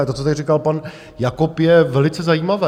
A to, co tady říkal pan Jakob, je velice zajímavé.